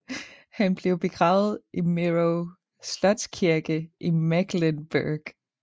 Han blev begravet i Mirow Slotskirke i Mecklenburg